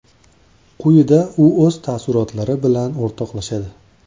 Quyida u o‘z taassurotlari bilan o‘rtoqlashadi.